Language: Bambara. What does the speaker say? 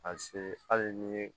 A se hali ni ye